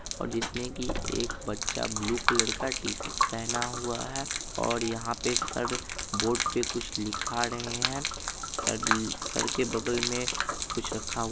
और जिसमें की एक बच्चा ब्लू कलर का टी-शर्ट पहना हुआ है और यहाँ पे सर बोर्ड पे कुछ लिखा रहे हैं सर सर के बगल में कुछ रखा हुआ --